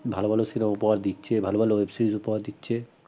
ভাল ভাল cinema উপহার দিচ্ছে ভাল ভাল web series উপহার দিচ্ছে